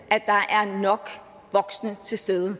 at der er nok voksne til stede